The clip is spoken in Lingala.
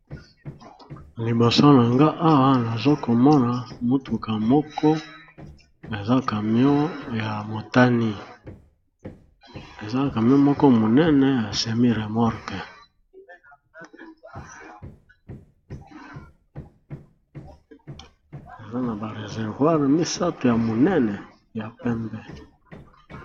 Liboso nanga awa nazo komona motuka moko eza kamion ya motani eza kamion moko monene ya semi remorke eza na ba reservoir na misato ya monene ya pembe.